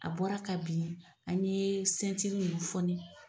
A bɔra ka bin an ye sentiri nin foni.